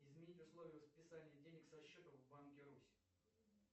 изменить условия списания денег со счета в банке русь